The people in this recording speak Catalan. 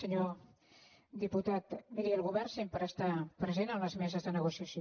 senyor diputat miri el go·vern sempre està present en les meses de negocia·ció